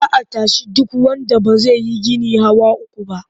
Za a tashi duk wanda ba zai yi gini hawa uku ba.